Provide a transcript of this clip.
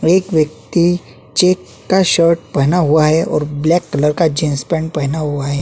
एक व्यक्ति चैक का शर्ट पहना हुआ है और ब्लैक कलर का जींस-पैंट पहना हुआ है।